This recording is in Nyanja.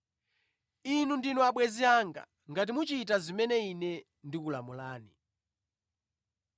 Inu ndinu abwenzi anga ngati muchita zimene Ine ndikulamulani.